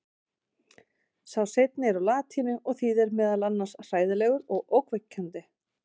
sá seinni er úr latínu og þýðir meðal annars „hræðilegur“ og „ógnvekjandi“